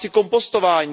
domácí kompostování.